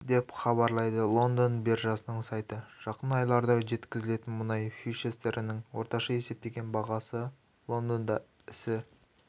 деп хабарлайды лондон биржасының сайты жақын айларда жеткізілетін мұнай фьючерстерінің орташа есептеген бағасы лондонда ісі